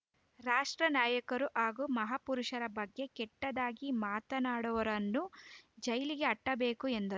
ರಾಷ್ಟ್ರ ನಾಯಕರು ಹಾಗೂ ಮಹಾಪುರುಷರ ಬಗ್ಗೆ ಕೆಟ್ಟದಾಗಿ ಮಾತನಾಡುವವರನ್ನು ಜೈಲಿಗೆ ಅಟ್ಟಬೇಕು ಎಂದರು